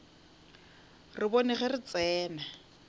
re bone ge re tsena